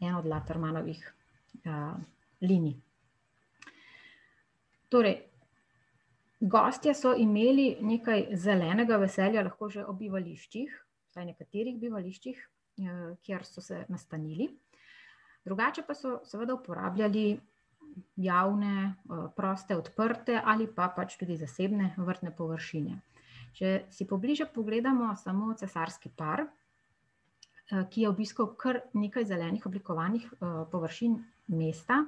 eno od Latermanovih, linij. Torej gostje so imeli nekaj zelenega v sebi, lahko že ob bivališčih, vsaj nekaterih bivališčih, kjer so se nastanili. Drugače pa so seveda uporabljali javne, proste, odprte ali pa pač tudi zasebne površine. Če si pobliže pogledamo samo cesarski par, ki je obiskal kar nekaj zelenih oblikovanih površin mesta,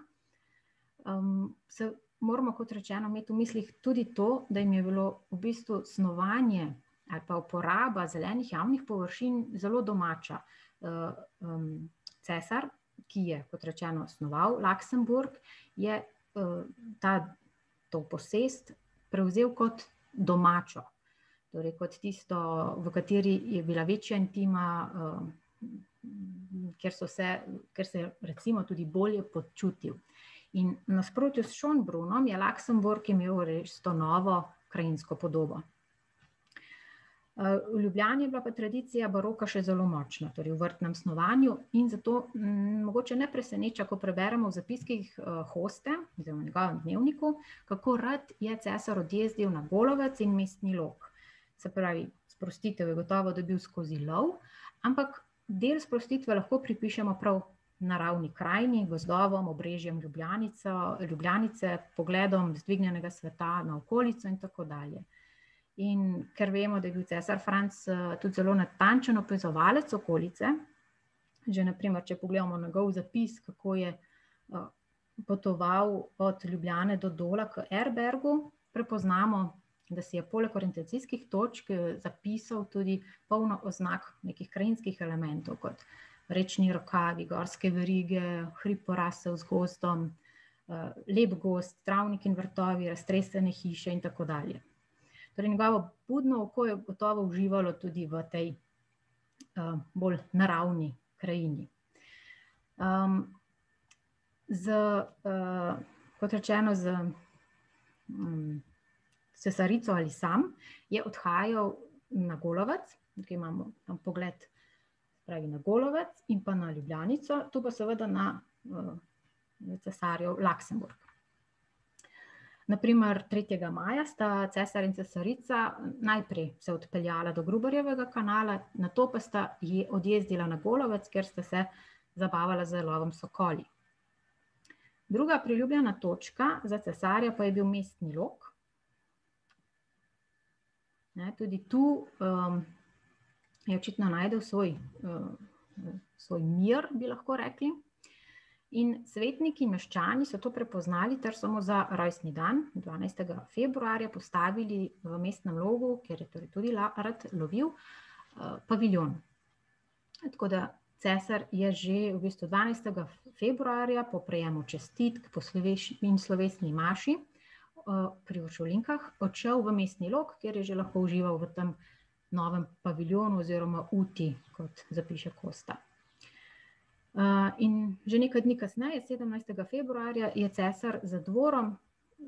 se moramo, kot rečeno, imeti v mislih tudi to, da jim je bilo v bistvu snovanje ali pa uporaba zelenih javnih površin zelo domača. cesar, ki je, kot rečeno, snoval Luxembourg, je, ta, to posest prevzel kot domačo. Torej kot tisto, v kateri je bila večja intima, kjer so se, kjer se je recimo tudi bolje počutil. In v nasprotju s Schönbrunnom je Luxembourg imel to novo krajinsko podobo. v Ljubljani je bila pa tradicija baroka še zelo močna v vrtnem snovanju in zato, mogoče ne preseneča, ko preberemo v zapiskih, Hoste oziroma v njegovem dnevniku, kako rad je cesar odjezdil na Golovec in Mestni Log. Se pravi, sprostitev je gotovo dobil skozi love, ampak del sprostitve lahko pripišemo prav naravni krajini, gozdovom, obrežjem Ljubljanico, Ljubljanice, pogledom z dvignjenega sveta na okolico in tako dalje. In ker vemo, da je bil cesar Franc, tudi zelo natančen opazovalec okolice, že na primer, če pogledamo njegov zapis, kako je, potoval od Ljubljane do Dola k Erbergu, prepoznamo, da si je poleg orientacijskih točk, zapisal tudi polno oznak nekih krajinskih elementov, kot rečni rokavi, gorske verige, hrib, porasel z gozdom, lep gozd, travnik in vrtovi, raztresene hiše in tako dalje. Torej njegovo budno oko je gotovo uživalo tudi v tej, bolj naravni krajini. z, ... Kot rečeno, s, cesarico ali sam je odhajal na Golovec, tukaj imamo, pogled se pravi, na Golovec in pa na Ljubljanico, to pa seveda na, cesarjev Luxembourg. Na primer, tretjega maja sta cesar in cesarica najprej se odpeljala do Gruberjevega kanala, nato pa sta odjezdila na Golovec, kjer sta se zabavala z lovom s sokoli. Druga priljubljena točka za cesarja pa je bil Mestni Log. Ne, tudi tu, je očitno našel svoj, svoj mir, bi lahko rekli. In svetniki in meščani so to prepoznali ter so mu za rojstni dan, dvanajstega februarja, postavili v Mestnem Logu, kjer je tudi rad lovil, paviljon. Tako da cesar je že v bistvu dvanajstega februarja po prejemu čestitk, po in slovesni maši, pri uršulinkah odšel v Mestni Log, kjer je že lahko užival v tem novem paviljonu oziroma uti, kot zapiše Kosta. in že nekaj dni kasneje, sedemnajstega februarja, je cesar za dvorom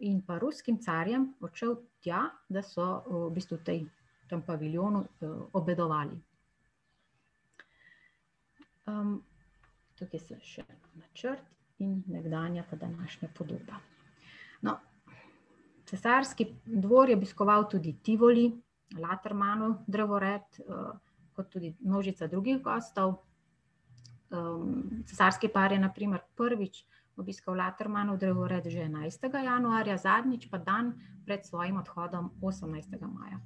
in pa Ruskim carjem odšel tja, da so, v bistvu v tej, tem paviljonu, obedovali. tukaj so še načrt in nekdanja pa današnja podoba. No, cesarski dvor je obiskoval tudi Tivoli, Latermanov drevored, kot tudi množica drugih gostov. cesarski par je na primer prvič obiskal Latermanov drevored že enajstega januarja, zadnjič pa dan pred svojim odhodom, osemnajstega maja.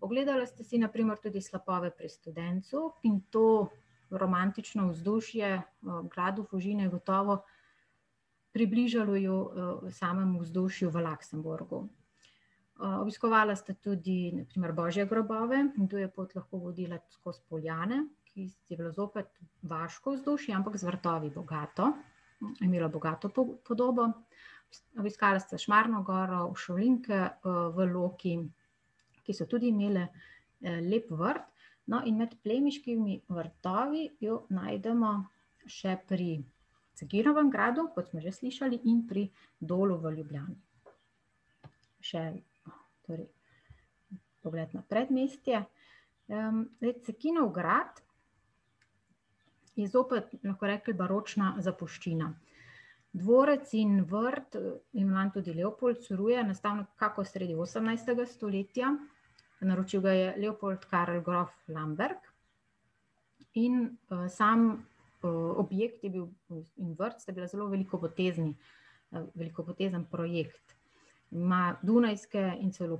Ogledala sta si na primer tudi slapove pri Studencu, in to romantično vzdušje v gradu Fužine je gotovo približalo you samemu vzdušju v Luxembourgu. obiskovala sta tudi na primer božje grobove, in tu je pot lahko vodila skozi Poljane, ki je bilo zopet vaško vzdušje, ampak z vrtovi bogato. Je imelo bogato podobo. Obiskala sta Šmarno goro, uršulinke, v Loki, ki so tudi imele, lep vrt. No, in med plemiškimi vrtovi jo najdemo še pri Cekinovem gradu, kot smo že slišali, in pri Dolu v Ljubljani. Še torej pogled na predmestje. zdaj Cekinov grad je zopet, bomo lahko rekli, baročna zapuščina. Dvorec in vrt ima tudi Leopold Curuje, nastal nekako sredi osemnajstega stoletja, naročil ga je Leopold Karel grof Lamberg, in, sam, objekt je bil in vrt, sta bila zelo velikopotezni, velikopotezen projekt na dunajske in celo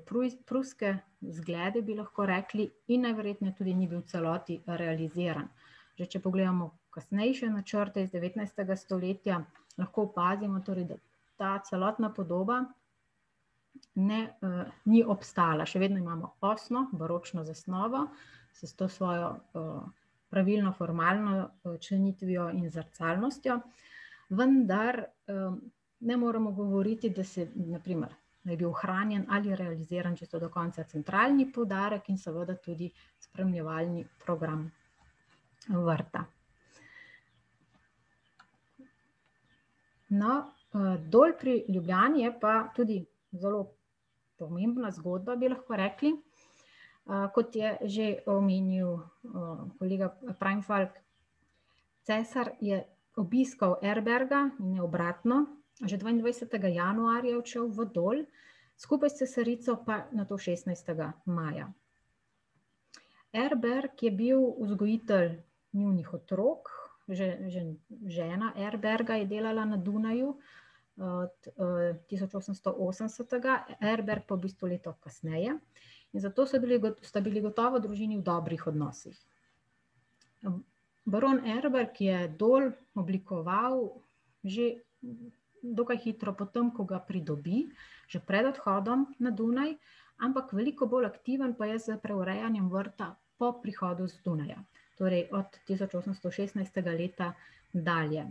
pruske zglede, bi lahko rekli, in najverjetneje tudi ni bil v celoti realiziran. Ker če pogledamo kasnejše načrte iz devetnajstega stoletja, lahko opazimo torej, da ta celotna podoba ne, ni obstala, še vedno imamo osmo baročno zasnovo s to svojo, pravilno formalno členitvijo in zrcalnostjo, vendar, ne moremo govoriti, da se na primer da je bil ohranjen ali realiziran čisto do konca centralni poudarek in seveda tudi spremljevalni program vrta. No, Dol pri Ljubljani je pa tudi zelo pomembna zgodba, bi lahko rekli. kot je že omenil, kolega Preinfalk, cesar je obiskal Erberga in ne obratno, že dvaindvajsetega januarja je odšel v Dol, skupaj s cesarico pa nato šestnajstega maja. Erberg je bil vzgojitelj njunih otrok, žena Erberga je delala na Dunaju, od, tisoč osemsto osemdesetega, Erberg pa v bistvu leto kasneje, in zato so bili sta bili gotovo družini v dobrih odnosih. baron Erberg je Dol oblikoval že dokaj hitro potem, ko ga pridobi, že pred odhodom na Dunaj. Ampak veliko bolj aktiven pa je s preurejanjem vrta po prihodu Stonerja. Torej od tisoč osemsto šestnajstega leta dalje.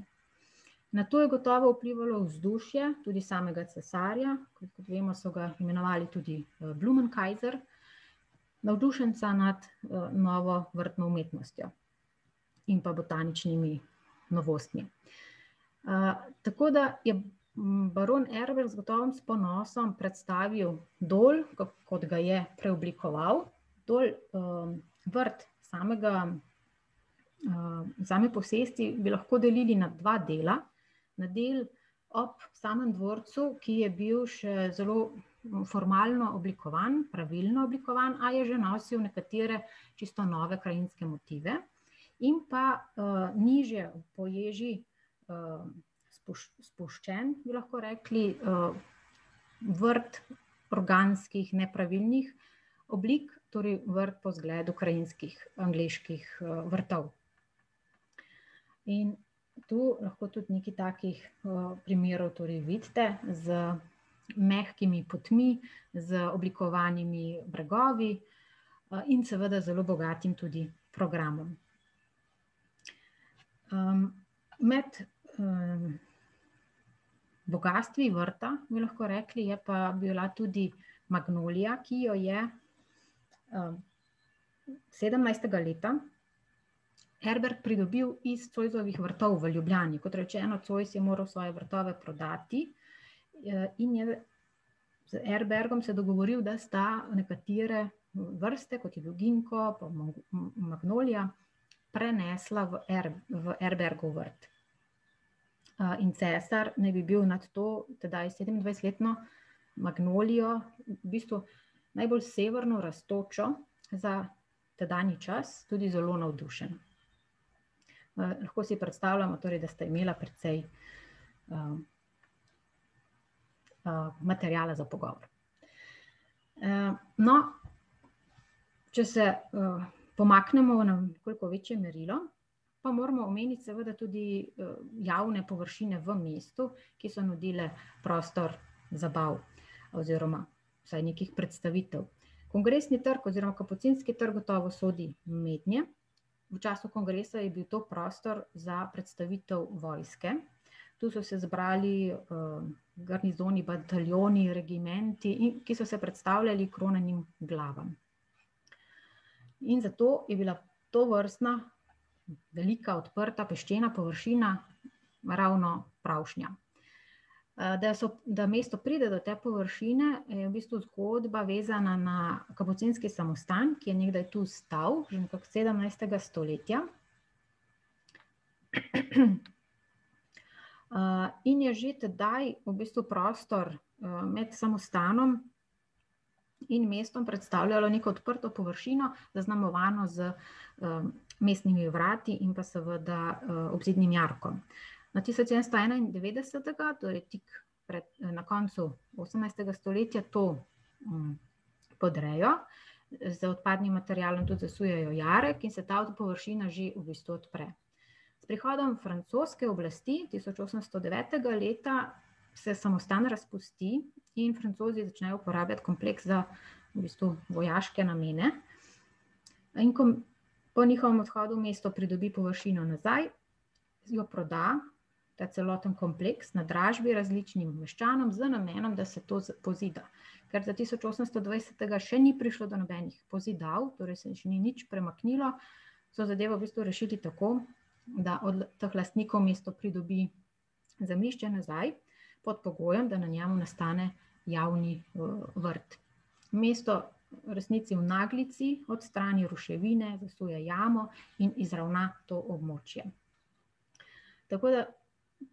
Na to je gotovo vplivalo vzdušje tudi samega cesarja, kot vemo, so ga imenovali tudi, Blumenkaiser, navdušenca nad, novo vrtno umetnostjo in pa botaničnimi novostmi. tako da je baron Erberg gotovo s ponosom predstavil Dol, kot ga je preoblikoval. Dol, vrt samega, same posesti bi lahko delili na dva dela, na del ob samem dvorcu, ki je bil še zelo formalno oblikovan, pravilno oblikovan, a je že nosil nekatere čisto nove krajinske motive. In pa, nižje po ježi, spuščen, bi lahko rekli, vrt organskih nepravilnih oblik, torej vrt po zgledu krajinskih angleških, vrtov. In tu lahko tudi nekaj takih, primerov torej vidite z mehkimi potmi, z oblikovanimi bregovi, in seveda zelo bogatim tudi programom. med, bogastvi vrta, bi lahko rekli, je pa bila tudi magnolija, ki jo je, sedemnajstega leta Erberg pridobil iz Zoisovih vrtov v Ljubljani, kot rečeno, Zois je moral svoje vrtove prodati, in je z Erbergom se dogovoril, da sta nekatere vrste, kot je bil ginko pa magnolija, prenesla v v Erbergov vrt. in cesar naj bi bil nad to, tedaj sedemindvajsetletno magnolijo v bistvu najbolj severno rastočo za tedanji čas, tudi zelo navdušen. lahko si predstavljamo, torej da sta imela precej materiala za pogovor. no če se, pomaknemo v na nekoliko večje merilo, pa moramo omeniti seveda tudi, javne površine v mestu, ki so nudile prostor oziroma vsaj nekih predstavitev. Kongresni trg oziroma Kapucinski trg gotovo sodi mednje, v času kongresa je bil to prostor za predstavitev vojske. Tu so se zbrali, bataljoni, regimenti in, ki so se predstavljali kronanim glavam. In zato je bila tovrstna velika odprta peščena površina ravno pravšnja. da so, da mesto pride do te površine, je v bistvu zgodba vezana na Kapucinski samostan, ki je nekdaj tu stal, in okrog sedemnajstega stoletja. in je že tedaj v bistvu prostor med samostanom in mestom predstavljalo neko odprto površino, zaznamovano z, mestnimi vrati in pa seveda, obzidnim jarkom. Na tisoč sedemsto enaindevetdesetega, torej tik pred, na koncu osemnajstega stoletja to, podrejo, z odpadnim materialom tudi zasujejo jarek in se ta površina že v bistvu odpre. S prihodom francoske oblasti tisoč osemsto devetega leta se samostan razpusti in Francozi začnejo uporabljati kompleks za v bistvu vojaške namene. No, in ... Po njihovem odhodu mesto pridobi površino nazaj, jo proda, ta celotni kompleks, na dražbi različnim meščanom z namenom, da se to pozida. Ker do tisoč osemsto dvajsetega še ni prišlo do nobenih pozidav, torej se ni še nič premaknilo, so zadevo v bistvu rešili tako, da od teh lastnikov mesto pridobi zemljišče nazaj, pod pogojem, da na njem nastane, javni vrt. Mesto v resnici v naglici odstrani ruševine, zasuje jamo in izravna to območje. Tako da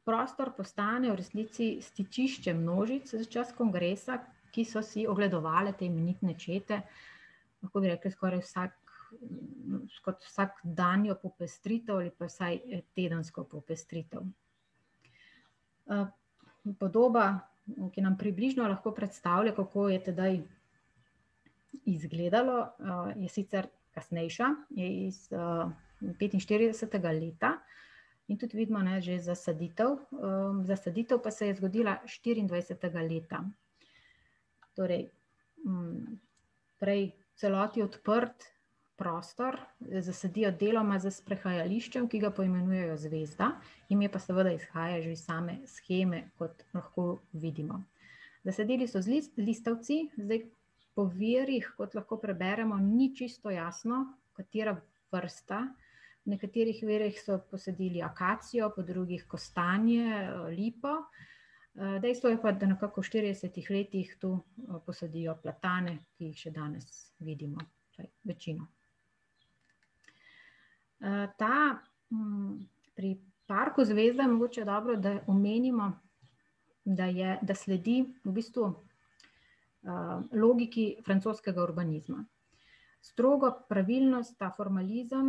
prostor postane v resnici stičišče množic za čas kongresa, ki so si ogledovale te imenitne čete, lahko bi rekli skoraj vsak kot vsakdanjo popestritev ali pa vsaj tedensko popestritev. podoba, ki nam približno lahko predstavlja, kako je tedaj izgledalo, je sicer, kasnejša, iz, petinštiridesetega leta, in tudi vidimo, ne, že zasaditev, zasaditev pa se je zgodila štiriindvajsetega leta. Torej, prej v celoti odprt prostor zasadijo deloma s sprehajališčem, ki ga poimenujejo Zvezda, ime pa seveda izhaja že iz same sheme, kot lahko vidimo. Zasadili so z listavci, zdaj po virih, kot lahko preberemo, ni čisto jasno, katera vrsta, na katerih virih so posadili akacijo, po drugih kostanje, lipo, dejstvo je pa, da nekako v štiridesetih letih tu, posadijo platane, ki jih še danes vidimo, večino. ta, ... Pri Parku Zvezda mogoče dobro, da omenimo, da je, da sledi v bistvu, logiki francoskega urbanizma. Strogo pravilno ta formalizem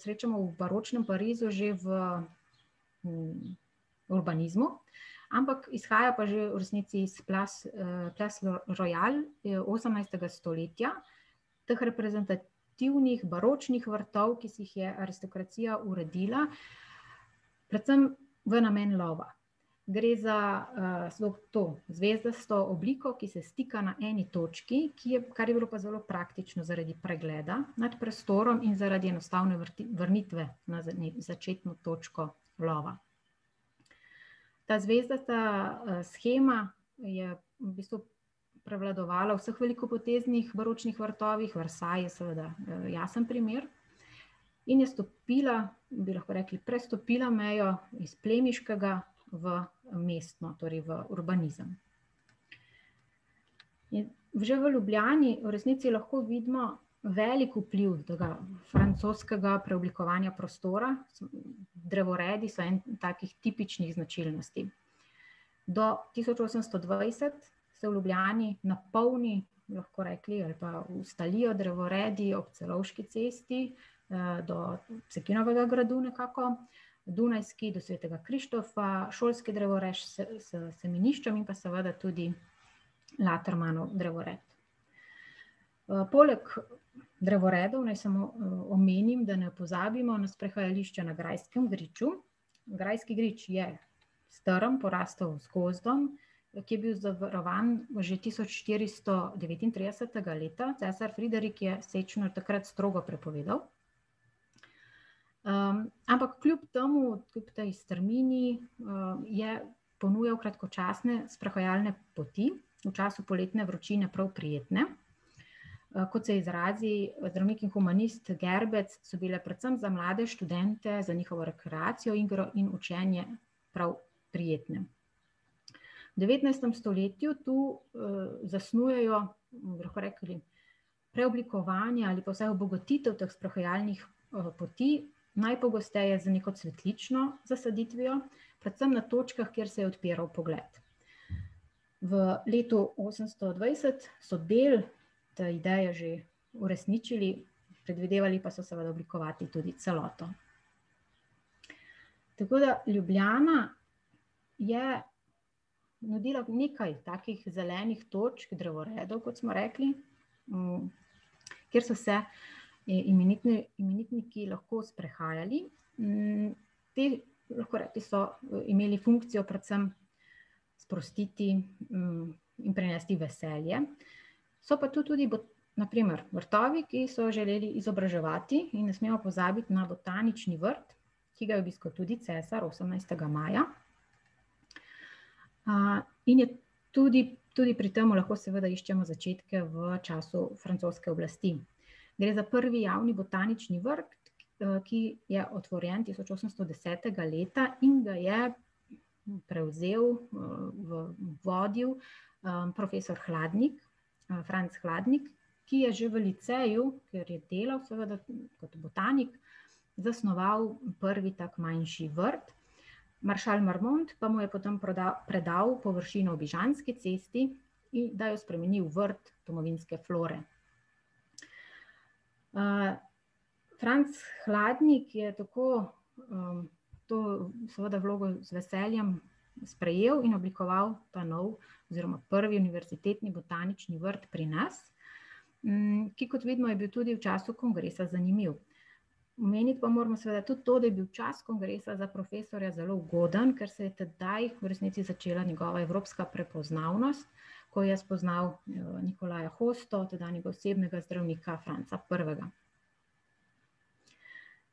srečamo v baročnem Parizu že v, urbanizmu, ampak izhaja pa že v resnici iz royal, je osemnajstega stoletja teh reprezentativnih baročnih vrtov, ki si jih je aristokracija uredila, predvsem v namen lova. Gre za, slog to, zvezdasto obliko, ki se stika na eni točki, ki je, kar je bilo pa zelo praktično zaradi pregleda nad prostorom in zaradi enostavne vrnitve na začetno točko lova. Ta zvezdasta, shema je v bistvu prevladovala v vseh velikopoteznih baročnih vrtovih, Versailles je seveda, jasen primer, in je stopila, bi lahko rekli prestopila mejo iz plemiškega v, mestno, torej v urbanizem. In že v Ljubljani v resnici lahko vidimo velik vpliv tega francoskega preoblikovanja prostora drevoredi so eni takih tipičnih značilnosti. Do tisoč osemsto dvajset se v Ljubljani napolni, bi lahko rekli, ali pa ustalijo drevoredi ob Celovški cesti, do Cekinovega gradu nekako, Dunajski do Svetega Krištofa, šolski drevored, semenišča in pa seveda tudi Latermanov drevored. poleg drevored naj samo, omenim, da ne pozabimo na sprehajališče na Grajskem griču. Grajski grič je strm, porastel z gozdom, ki je bil zavarovan že tisoč štiristo devetintridesetega leta, cesar Friderik je sečnjo takrat strogo prepovedal. ampak kljub temu, kljub tej strmini, je ponujali kratkočasne sprehajalne poti, v času poletne vročine prav prijetne. kot se izrazi zdravnik in humanist Gerbec, so bile predvsem za mlade študente, za njihovo rekreacijo, igro in učenje prav prijetne. V devetnajstem stoletju tu, zasnujejo, bi lahko rekli, preoblikovanja ali pa vsaj obogatitev teh sprehajalnih, poti, najpogosteje z neko cvetlično zasaditvijo, predvsem na točkah, kjer se je odpiral pogled. V letu osemsto dvajset so del te ideje že uresničili, predvidevali pa so seveda oblikovati tudi celoto. Tako da Ljubljana je naredila nekaj takih zelenih točk, drevoredov, kot smo rekli, kjer so se ti imenitniki lahko sprehajali, te, bi lahko rekli, so imeli funkcijo predvsem sprostiti, in prinesti veselje, so pa tu tudi na primer vrtovi, ki so želeli izobraževati, in ne smemo pozabiti na botanični vrt, ki ga je obiskal tudi cesar osemnajstega maja. in je tudi, tudi pri tem lahko seveda iščemo začetke v času francoske oblasti. Gre za prvi javni botanični vrt, ki je otvorjen tisoč osemsto desetega leta in ga je prevzel, vodil, profesor Hladnik, Franc Hladnik, ki je že v liceju, kjer je delal seveda kot botanik, zasnoval prvi tak manjši vrt. Maršal Marmont pa mu je potem predal površino ob Ižanski cesti, da je spremenil v vrt domovinske flore. Franc Hladnik je tako, to seveda vlogo z veseljem sprejel in oblikoval ta novi oziroma prvi univerzitetni botanični vrt pri nas, ki, kot vidimo, je bil tudi v času kongresa zanimiv. Omeniti pa moramo seveda tudi to, da je bil čas kongresa za profesorja zelo ugoden, ker se je tedaj v resnici začela njegova evropska prepoznavnost, ko je spoznal, Nikolaja Hosto, tedanjega osebnega zdravnika Franca Prvega.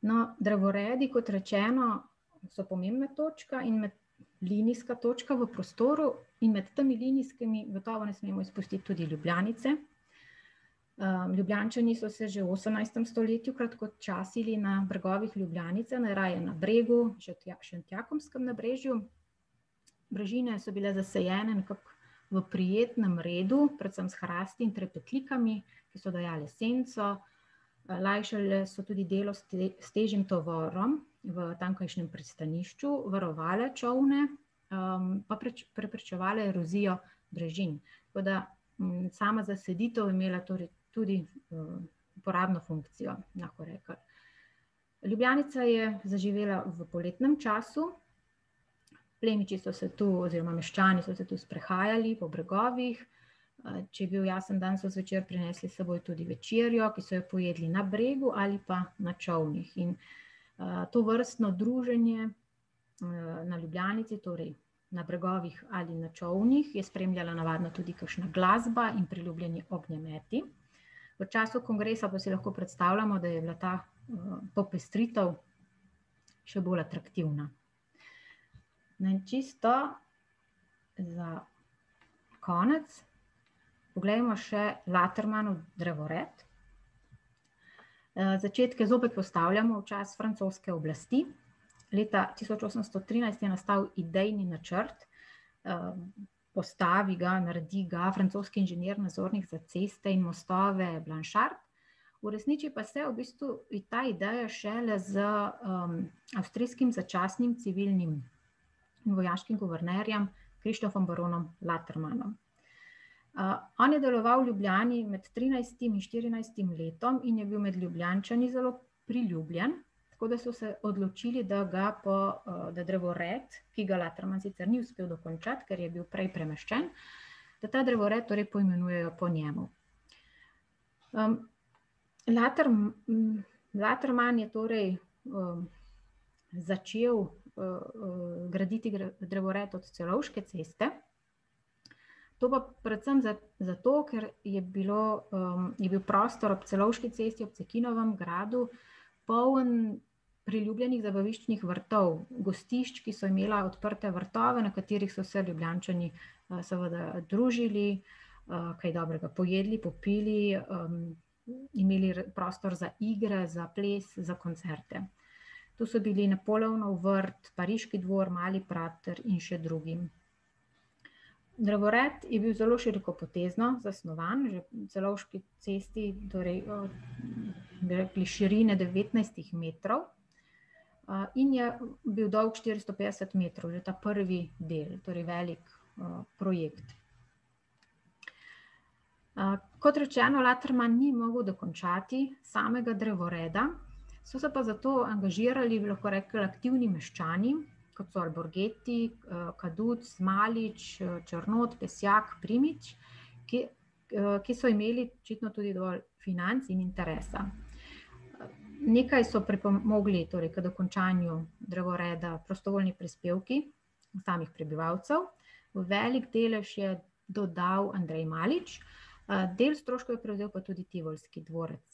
No, drevoredi, kot rečeno, so pomembna točka in linijska točka v prostoru in med temi linijskimi gotovo ne smemo izpustiti Ljubljanice. Ljubljančani so se že v osemnajstem stoletju kratkočasili na bregovih Ljubljanice, najraje na Bregu, Šentjakobskem nabrežju. Brežine so bile nasajene nekako v prijetnem redu, predvsem s hrasti in trepetlikami, ki so dajale senco, lajšale so tudi delo s težjim tovorom v tamkajšnjem pristanišču, varovale čolne, pa preprečevale erozijo brežin. Tako da, sama zaselitev je imela torej tudi, uporabno funkcijo, bi lahko rekli. Ljubljanica je zaživela v poletnem času, plemiči so se tu oziroma meščani so se tu sprehajali po bregovih, če je bil jasen dan, so zvečer prinesli s seboj tudi večerjo, ki so jo pojedli na bregu ali pa na čolnih, in, tovrstno druženje, na Ljubljanici, torej na bregovih ali na čolnih je spremljala navadno tudi kakšna glasba in priljubljeni ognjemeti. V času kongresa pa si lahko predstavljamo, da je bila ta, popestritev še bolj atraktivna. Naj čisto za konec poglejmo še Latrmanov drevored. začetku zopet postavljamo v čas francoske oblasti, leta tisoč osemsto trinajst je nastal idejni načrt, postavi ga, naredi ga francoski inženir, nadzornik za ceste in mostove , uresniči pa se v bistvu ta ideja šele z, avstrijskim začasnih civilnim vojaških guvernerjem Krištofom baronom Latermanom. on je deloval v Ljubljani med trinajstim in štirinajstim letom in je bil med Ljubljančani zelo priljubljen, tako da so se odločili, da ga po, da drevored, ki ga Laterman sicer ni uspel dokončati, ker je bil prej premeščen, da ta drevored torej poimenujejo po njemu. Laterman je torej, začel, graditi drevored od Celovške ceste, to pa predvsem zato, ker je bilo, je bil prostor ob Celovški cesti ob Cekinovem gradu poln priljubljenih zabaviščnih vrtov, gostišč, ki so imela odprte vrtove, na katerih so se Ljubljančani, seveda družili, kaj dobrega pojedli, popili, imeli prostor za igre, za ples, za koncerte. To so bili Napoleonov vrt, Pariški dvor, Mali prater in še drugi. Drevored je bil zelo širokopotezno zasnovan na Celovški cesti, torej, bi rekli širine devetnajstih metrov, in je bil dolg štiristo petdeset metrov, že ta prvi del, torej velik, projekt. kot rečeno, Laterman ni mogel dokončati samega drevoreda, so se pa zato angažirali, bi lahko rekli, aktivni meščani, kot so Alborgeti, Kaduc, Malič, Črnot, Pesjak, Primič, ki, ki so imeli očitno tudi dovolj financ in interesa. Nekaj so pripomogli torej k dokončanju drevoreda prostovoljni prispevki samih prebivalcev, veliko delež je dodal Andrej Malič, del stroškov je prevzel pa tudi tivolski dvorec.